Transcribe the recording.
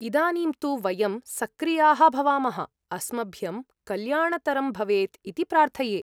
इदानीं तु, वयं सक्रियाः भवामः, अस्मभ्यं कल्याणतरं भवेत् इति प्रार्थये।